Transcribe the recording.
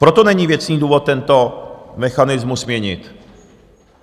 Proto není věcný důvod tento mechanismus měnit.